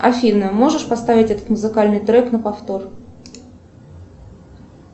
афина можешь поставить этот музыкальный трек на повтор